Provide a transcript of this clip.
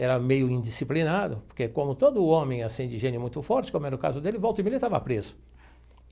Era meio indisciplinado, porque como todo homem assim de gênio muito forte, como era o caso dele, volta e meia estava preso.